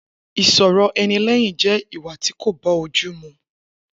Isọ rọ ẹni lẹyìn je ìwà tí kò bọ jù mú.